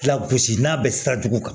Lagosi n'a bɛ sira jugu kan